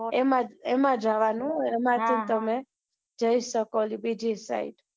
એમાં જવા નું એમાં જ તમે જી શકો બીજી side